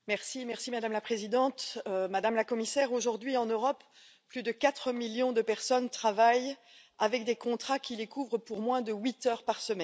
Madame la Présidente, Madame la Commissaire, aujourd'hui, en Europe, plus de quatre millions de personnes travaillent avec des contrats qui les couvrent pour moins de huit heures par semaine.